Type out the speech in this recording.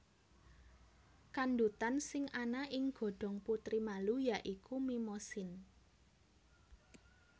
Kandhutan sing ana ing godhong putri malu ya iku Mimosine